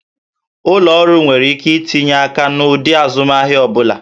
Ụlọ ọrụ nwere ike itinye aka n'ụdị azụmahịa ọ bụla